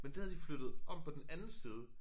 Men det havde de flyttet om på den anden side